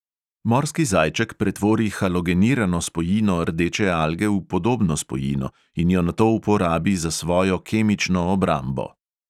Morski zajček pretvori halogenirano spojino rdeče alge v podobno spojino in jo nato uporabi za svojo kemično obrambo.